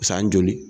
San joli